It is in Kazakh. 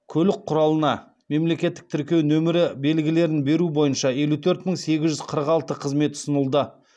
көлік құралына мемлекеттік тіркеу нөмірі белгілерін беру бойынша елу төрт мың сегіз жүз қырық алты қызмет ұсынылды